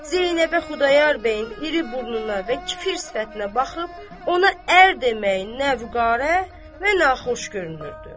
Zeynəbə Xudayar bəyin iri burnuna və kifir sifətinə baxıb ona ər deməyi nə vüqarə, nə xoş görünürdü.